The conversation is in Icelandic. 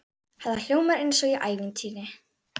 Þetta hljómar eins og í ævintýri.